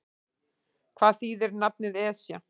Hvað þýðir nafnið Esja?